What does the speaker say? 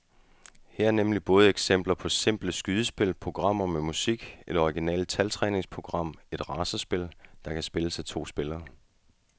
Her er nemlig både eksempler på simple skydespil, programmer med musik, et originalt taltræningsprogram og et racerspil, der kan spilles af to spillere.